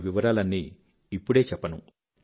వాటి వివరాలన్నీ ఇప్పుడే చెప్పను